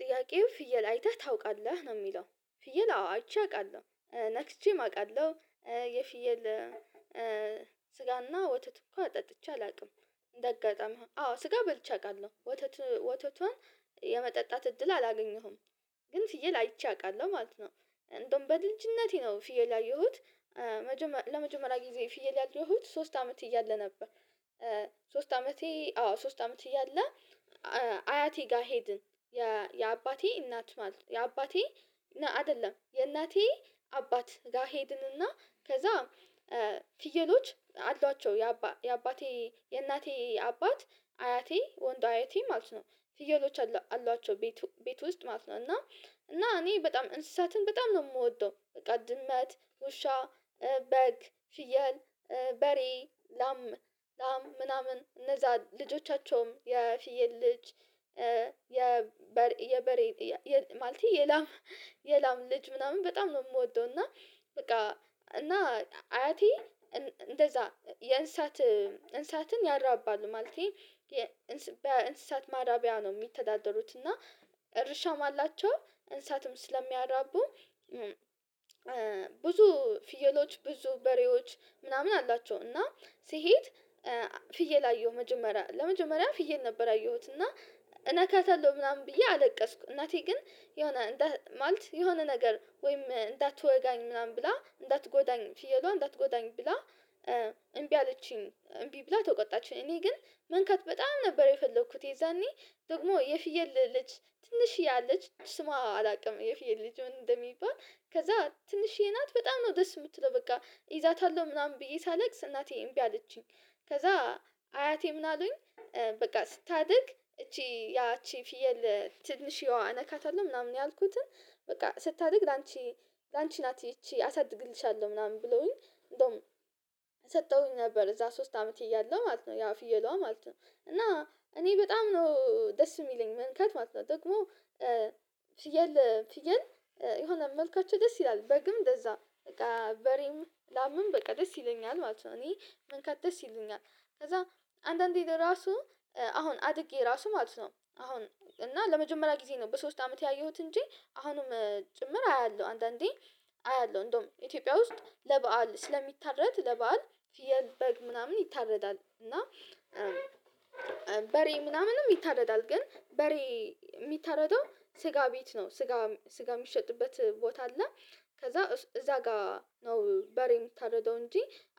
ጥያቄው ፍየል አይተህ ታውቃለህ ነው የሚለው ፍየል አዎ አይቼ አቃለሁ ነክቼም አውቃለሁ። የፍየል ስጋና ወተት እንኳን ጠጥቼ አላውቅም። እንደ አጋጣሚ አዎ ስጋ በልቼ አውቃለሁ ወተት ወተቱን የመጠጣት እድል አላገኘሁም። ግን ፍየል አይቼ አውቃለሁ ማለት ነው። እንደውም በልጅነቴ ነው ፍየል ያየሁት ለመጀመሪያ ጊዜ ፍየል ያየሁት ሶስት አመት እያለ ነበር። ሶስት አመቴ አዎ ሶስት አመት እያለ አያቴ ጋር ሄድን። የአባቴ እናት ማለት የአባቴ አይደለም የእናቴ አባት ጋር ሄድንና ከዛ ፍየሎች አሏቸው የአባቴ የእናቴ አባት አያቴ ወንድ አያቴ ማለት ነው። ፍየሎች አሏቸው ቤቱ ቤት ውስጥ ማለት ነው። እና እና እኔ በጣም እንስሳትን በጣም ነው የምወደው በቃ ድመት ውሻ በግ ፍየል በሬ ላም ላም ምናምን እነዛ ልጆቻቸውም የፍየል ልጅ የበሬ ማለቴ የላም የላም ልጅ ምናምን በጣም ነው የምወደው። እና በቃ እና አያቴ እንደዛ የእንስሳት እንስሳትን ያራባል ማለቴ በእንስሳት ማረቢያ ነው የሚተዳደሩት። እና እርሻም አላቸው እንስሳትም ስለሚያራቡ ብዙ ፍየሎች ብዙ በሬዎች ምናምን አላቸው። እና ስሄድ ፍየል አየሁ መጀመሪያ ለመጀመሪያም ፍየል ነበር ያየሁት እና እነካታለሁ ምናምን ብዬ አለቀስኩ። እናቴ ግን የሆነ ማለት የሆነ ነገር ወይም እንዳትወጋኝ ምናምን ብላ እንዳትጎዳኝ ፍየሏን እንዳትጎዳኝ ብላ እምቢ አለችኝ እምቢ ብላ ተቆጣችኝ እኔ ግን መንካት በጣም ነበር የፈለኩት። የዛኔ ደግሞ የፍየል ልጅ ትንሽዬ አለች ስሟ አላውቅም የፍየል ልጅ ምን እንደሚባል ከዛ ትንሽዬ ናት በጣም ነው ደስ የምትለው በቃ እይዛታለሁ ምናምን ብዬ ሳለቅስ እናቴ እምቢ አለቺኝ። ከዛ አያቴ ምን አሉኝ በቃ ስታድግ እቺ ያ እቺ ፊየል ትንሽዬዋ ነካታለሁ ምናምን ያልኩትን በቃ ስታድግ ላንቺ ላንቺ ናት ይቺ አሳድግልሻለሁ ምናምን ብለውኝ እንደውም ሰጠዉኝ ነበር። እዛ ሶስት አመት እያለሁ ማለት ነው ያ ፍየሏ ማለት ነው እና እኔ በጣም ነው ደስ የሚለኝ መንካት ማለት ነው። ደግሞ ፍየል ፍየል የሆነ መልካቸው ደስ ይላል በግም እንደዛ በቃ በሬም ላምም በቃ ደስ ይለኛል ማለት ነው እኔ መንካት ደስ ይለኛል። ከዛ አንዳንዴ ለራሱ አሁን አድጌ ራሱ ማለት ነው አሁን እና ለመጀመሪያ ጊዜ ነው በሶስት አመት ያየሁት እንጂ አሁንም ጭምር አያለሁ አንዳንዴ አያለሁ እንደውም ኢትዮጵያ ውስጥ ለበአል ስለሚታረድ ለበአል የበግ ምናምን ይታረዳል እና በሬ ምናምንም ይታረዳል ግን በሬ የሚታረደው ስጋ ቤት ነው ስጋ ስጋ የሚሸጥበት ቦታ አለ። ከዛ እዛ ጋር ነው በሬ የምታርድው እንጂ